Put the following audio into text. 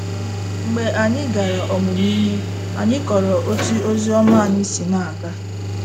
Mgbe anyị gara ọmụmụ ihe, anyị kọrọ otú ozi ọma anyị si na - aga.